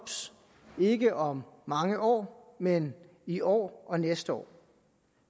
ikke om mange år men i år og næste år